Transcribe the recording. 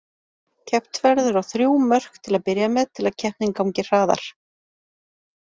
Keppt verður á þrjú mörk til að byrja með til að keppnin gangi hraðar.